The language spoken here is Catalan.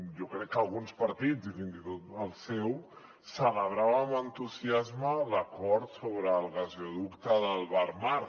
jo crec que alguns partits i fins i tot el seu celebraven amb entusiasme l’acord sobre el gasoducte del barmar